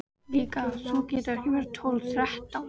Líka þú þegar þú verður tólf, þrettán.